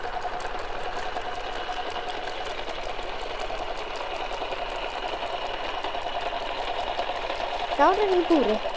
Gárar í búri